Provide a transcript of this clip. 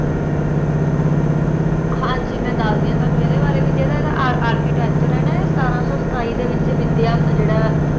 ਹਾਂਜੀ ਮੈਂ ਦੱਸਦੀ ਆ ਤੁਹਾਨੂੰ ਇਹਦੇ ਬਾਰੇ ਵੀ ਇਹਦਾ ਜਿਹੜਾ ਆਰ architecture ਹੈ ਨਾ ਇਹ ਸਤਾਰਾਂ ਸੋ ਸਤਾਈ ਦੇ ਵਿਚ ਵਿਦਿਆ ਜੇਹੜਾ